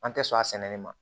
An tɛ sɔn a sɛnɛli ma